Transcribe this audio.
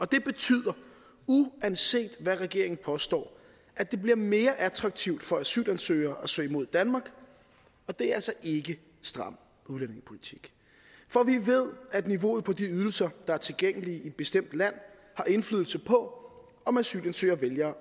det betyder uanset hvad regeringen påstår at det bliver mere attraktivt for asylansøgere at søge mod danmark og det er altså ikke stram udlændingepolitik for vi ved at niveauet for de ydelser der er tilgængelige i et bestemt land har indflydelse på om asylansøgere vælger